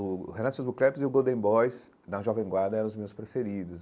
O Renan Sosbo Cleps e o Golden Boys, da Jovem Guarda, eram os meus preferidos.